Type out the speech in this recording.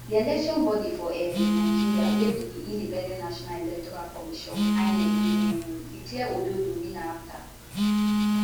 di election bodi for um nigeria wey be di independent national electoral commission inec bin um declare ododo winner afta